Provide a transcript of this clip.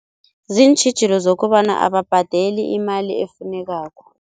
Ziintjhijilo zokobana ababhadeli imali efunekako.